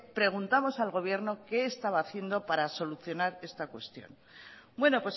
preguntamos al gobierno qué estaba haciendo para solucionar esta cuestión bueno